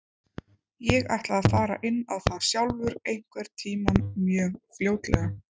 Ég ætla að fara inn á það sjálfur einhvern tíma mjög fljótlega.